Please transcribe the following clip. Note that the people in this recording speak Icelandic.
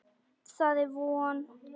Það er von.